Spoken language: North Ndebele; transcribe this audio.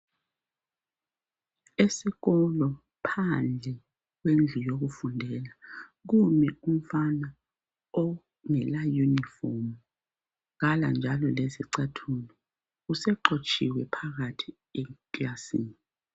Esikolo phandle kwendlu yokufundela kumi umfana ongela uniform kala njalo lesicathulo usexotshiwe phakathi ekilasini.